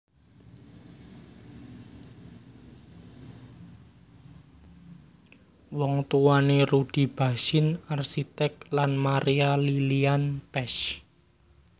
Wong tuwané Rudy Bachsin arsitek lan Maria Lilian Pesch